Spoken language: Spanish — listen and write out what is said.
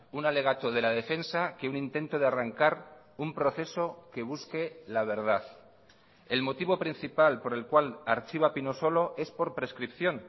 un alegato de la defensa que un intento de arrancar un proceso que busque la verdad el motivo principal por el cual archiva pinosolo es por prescripción